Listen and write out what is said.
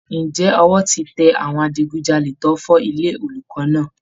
Ǹjẹ́ ọwọ́ ti tẹ àwọn adigujalè tó fọ́ ilé olùkọ́ náà